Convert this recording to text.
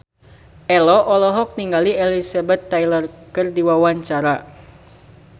Ello olohok ningali Elizabeth Taylor keur diwawancara